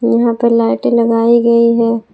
यहां पर लाइटें लगाई गई है।